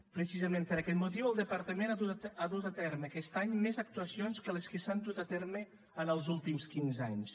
precisament per aquest motiu el departament ha dut a terme aquest any més actuacions que les que s’han dut a terme en els últims quinze anys